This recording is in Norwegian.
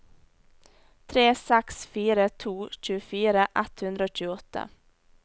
tre seks fire to tjuefire ett hundre og tjueåtte